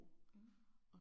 Mh